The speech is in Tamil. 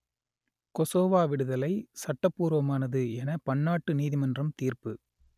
கொசோவா விடுதலை சட்டபூர்வமானது என பன்னாட்டு நீதிமன்றம் தீர்ப்பு